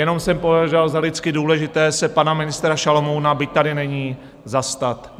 Jenom jsem považoval za lidsky důležité se pana ministra Šalomouna, byť tady není, zastat.